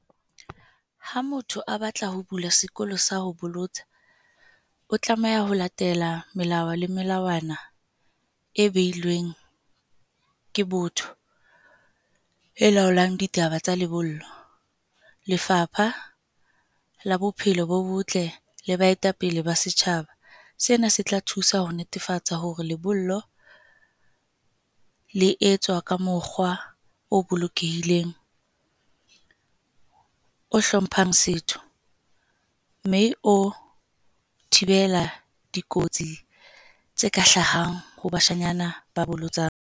Ha motho a batla ho bula sekolosa ho bolotsa, o tlameha ho latela melao le melawana e beilweng ke botho e laolang ditaba tsa lebollo. Lefapha la Bophelo bo botle le baetapele ba setjhaba. Sena se tla thusa ho netefatsa hore lebollo le etswa ka mokgwa o bolokehileng, o hlomphang setho, mme o thibela dikotsi tse ka hlahang ho bashanyana ba bolotsa.